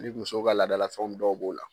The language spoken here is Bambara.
musow ka laadala fɛnw dɔw b'o la.